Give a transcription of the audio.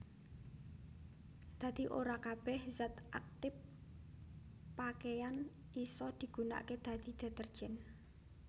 Dadi ora kabèh zat aktip pakeyan isa digunakaké dadi detergen